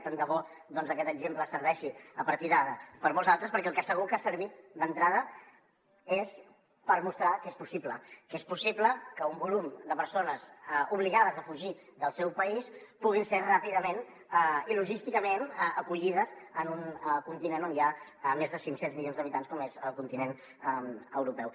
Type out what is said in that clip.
tant de bo aquest exemple serveixi a partir d’ara per a molts altres perquè per al que segur que ha servit d’entrada és per mostrar que és possible que és possible que un volum de persones obligades a fugir del seu país puguin ser ràpidament i logísticament acollides en un continent on hi ha més de cinc cents milions d’habitants com és el continent europeu